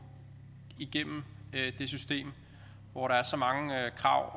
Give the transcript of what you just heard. igennem det system hvor der er så mange krav